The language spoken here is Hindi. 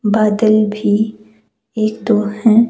बादल भी एक तो है।